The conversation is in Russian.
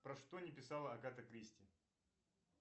про что не писала агата кристи